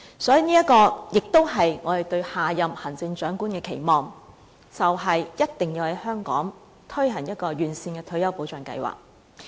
所以，這也是我們對下任行政長官的期望，便是一定要在香港推行完善的退休保障計劃。